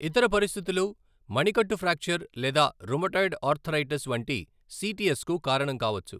ఇతర పరిస్థితులు మణికట్టు ఫ్రాక్చర్ లేదా రుమటాయిడ్ ఆర్థరైటిస్ వంటి సిటిఎస్ కు కారణం కావచ్చు.